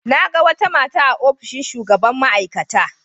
Na ga wata mata a ofishin shugaban ma'aikata.